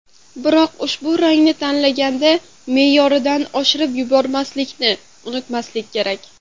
Biroq ushbu rangni tanlaganda me’yoridan oshirib yubormaslikni unutmaslik kerak.